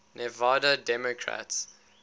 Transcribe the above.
nevada democrats